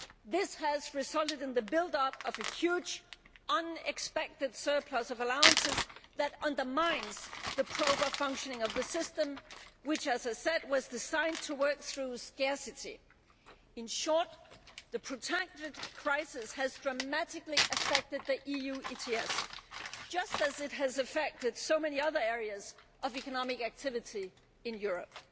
This has resulted in the build up of a huge, unexpected surplus of allowances that undermines the proper functioning of the system which, as I said, was designed to work through scarcity. In short, the protracted crisis has dramatically affected the EU ETS just as it has affected so many other areas of economic activity in Europe.